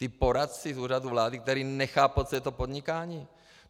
Ti poradci z Úřadu vlády, kteří nechápou, co je to podnikání?